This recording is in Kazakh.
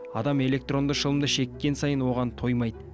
адам электронды шылымды шеккен сайын оған тоймайды